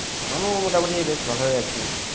আমিও মোটামুটি বেশ ভালই আছি।